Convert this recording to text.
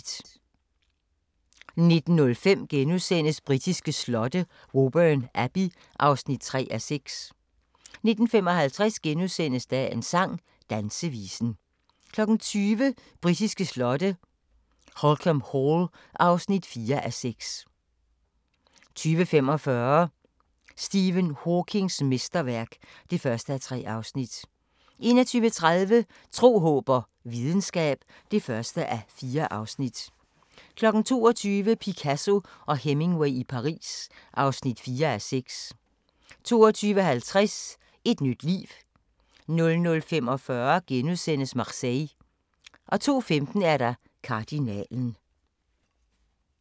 19:05: Britiske slotte: Woburn Abbey (3:6)* 19:55: Dagens sang: Dansevisen * 20:00: Britiske slotte: Holkham Hall (4:6) 20:45: Stephen Hawkings mesterværk (1:3) 21:30: Tro, håb og videnskab (1:4) 22:00: Picasso og Hemingway i Paris (4:6) 22:50: Et nyt liv 00:45: Marseille * 02:15: Kardinalen